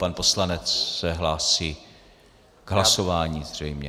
Pan poslanec se hlásí k hlasování zřejmě.